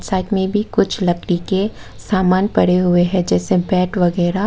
Side में भी कुछ लकड़ी के समान पड़े हुए हैं जैसे बैट वगैरा।